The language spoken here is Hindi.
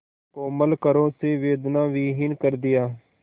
कोमल करों से वेदनाविहीन कर दिया